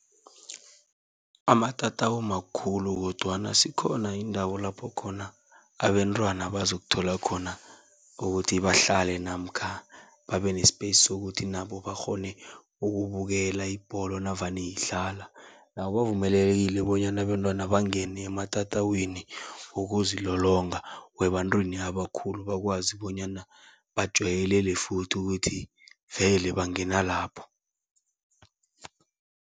Amatatawu makhulu kodwana zikhona iindawo lapho khona abentwana bazokuthola khona ukuthi bahlale namkha babe ne-space sokuthi nabo bakghone ukubukela ibholo navane idlala. Nabo bavumelekile bonyana abentwana bangene ematatawini wokuzilolonga webantwini abakhulu, bakwazi bonyana bajayelele futhi ukuthi vele bangena lapho.